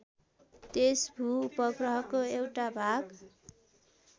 त्यस भू उपग्रहको एउटा भाग